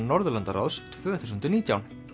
Norðurlandaráðs tvö þúsund og nítján